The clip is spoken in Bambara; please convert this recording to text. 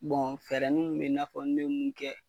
fɛɛrɛninw mun bɛ yen,i n'a fɔ ne bɛ mun kɛ.